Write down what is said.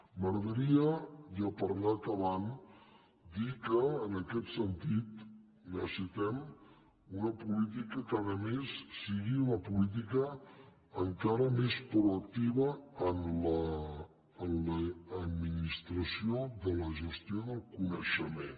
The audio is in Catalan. m’agradaria ja per anar acabant dir que en aquest sen·tit necessitem una política que a més sigui una política encara més proactiva en l’administració de la gestió del coneixement